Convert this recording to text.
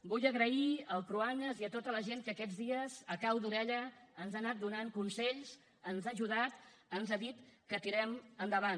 vull donar les gràcies al cruanyes i a tota la gent que aquests dies a cau d’orella ens ha anat donant consells ens ha ajudat ens ha dit que tirem endavant